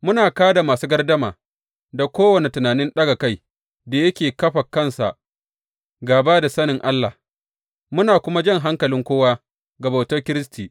Muna ka da masu gardama da kowane tunanin ɗaga kai da yake kafa kansa gāba da sanin Allah, muna kuma jan hankalin kowa ga bautar Kiristi.